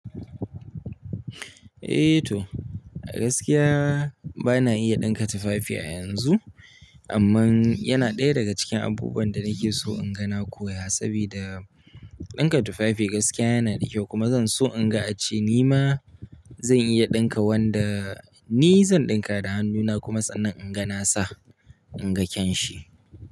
Eh to, gaskiya bana iya ɗinka tufafi a yanzu, amma yana ɗaya daga cikin abubuwan da nake so in ga na koya. Saboda ɗinka tufafi gaskiya yana da kyau kuma zan so in ga a ce ni ma zan iya ɗinka wanda ni zan ɗinka da hannuna kuma sannan in ga nasa, in ga kyan shi.